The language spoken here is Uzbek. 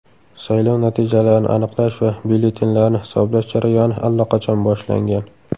Saylov natijalarini aniqlash va byulletenlarni hisoblash jarayoni allaqachon boshlangan.